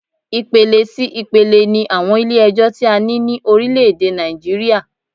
Ipele sí ipele ni àwọn Ilé ẹjọ́ ti a ní ní orílẹ̀ èdè Nàìjíríà